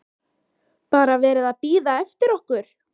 BARA VERIÐ AÐ BÍÐA EFTIR OKKUR!